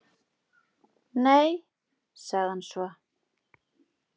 Nei- sagði hann svo.